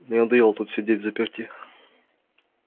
мне надоело тут сидеть взаперти